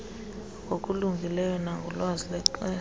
ngokulungileyo nangolwazi lexesha